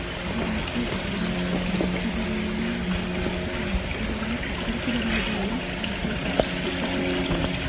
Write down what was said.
हरे रंग की है बगल मे एक और मूर्ति बनी हुई है |अंदर की साइड मे जो मूर्ति बनी हुई है | पत्थर की बनाई गई है और जो पत्थर की ऊपर रखी गई है ।